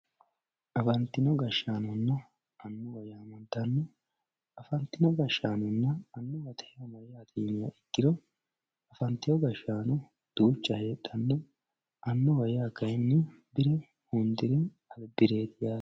Afanitino gashanonna anuwa yaamantano afanitino gashanonna anuwatte yaa mayyaate yiniha ikiro afanitewo gaashano duucha hedhano anuwa yaa kayinni birre hundiri alibiretti yatte